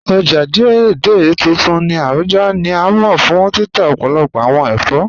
Ọ̀já Dei Dei tuntun ni Abuja ni a mọ fun títà ọ̀pọ̀lọ̀pọ̀ awọn èfọ́.